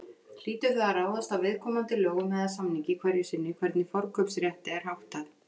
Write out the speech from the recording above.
Hlýtur það að ráðast af viðkomandi lögum eða samningi hverju sinni hvernig forkaupsrétti er háttað.